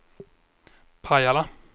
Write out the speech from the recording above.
Pajala